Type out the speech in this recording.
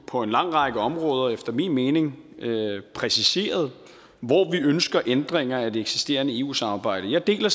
på en lang række områder efter min mening præciseret hvor vi ønsker ændringer af det eksisterende eu samarbejde og jeg deler